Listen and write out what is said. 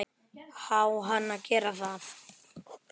Á hann að gera það?